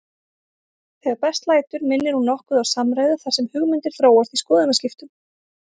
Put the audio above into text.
Þegar best lætur minnir hún nokkuð á samræðu þar sem hugmyndir þróast í skoðanaskiptum.